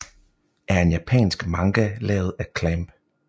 er en japansk manga lavet af CLAMP